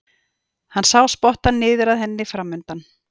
Hann sá spottann niður að henni framundan.